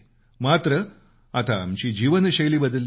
मात्र आता आमची जीवन शैली बदलली आहे